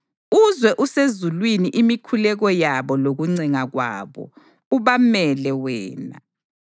uzwe usezulwini imikhuleko yabo lokuncenga kwabo, ubamele wena.